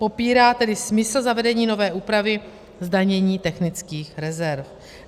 Popírá tedy smysl zavedení nové úpravy zdanění technických rezerv.